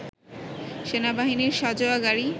সেনাবাহিনীর সাঁজোয়া গাড়ি